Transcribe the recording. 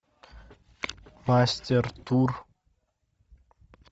мастер тур